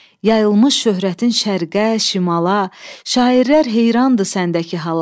Yayılmış şöhrətin şərqə, şimala, şairlər heyrandır səndəki hala.